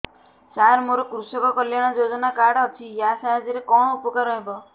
ସାର ମୋର କୃଷକ କଲ୍ୟାଣ ଯୋଜନା କାର୍ଡ ଅଛି ୟା ସାହାଯ୍ୟ ରେ କଣ ଉପକାର ହେବ